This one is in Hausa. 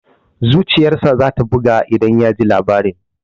Zuciyar sa za ta buga idan ya ji labarin.